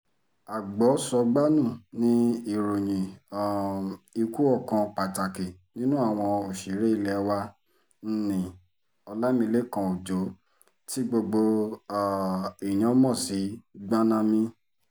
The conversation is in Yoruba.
agbo-sọgbà-nu ni ìròyìn um ikú ọkàn pàtàkì nínú àwọn òṣèré ilé wa ńǹní ọlámilekan ọjọ́ tí gbogbo um èèyàn mọ̀ sí gbanami